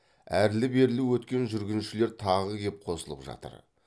әрлі берлі өткен жүргіншілер тағы кеп қосылып жатыр